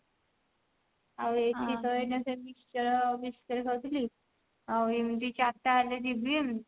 ଆଉ ଏଠି ତ ଏଇନା ସେ mixture biscuit ଖାଉଥିଲି ଆଉ ଏମତି ଚାରିଟା ବେଳେ ଯିବି